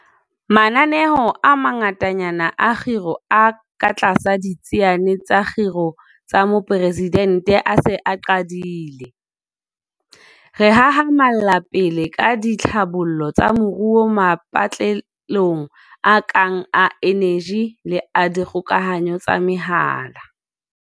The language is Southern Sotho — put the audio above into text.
Mananeo a mangatanyana a kgiro a katlasa Ditsiane tsa Kgiro tsa Moporesidente a se a qadile. Re hahamalla pele ka ditlhabollo tsa moruo mapatlelong a kang a eneji le a dikgokahanyo tsa mehala.